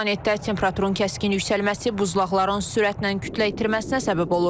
Planetdə temperaturun kəskin yüksəlməsi buzlaqların sürətlə kütlə itirməsinə səbəb olur.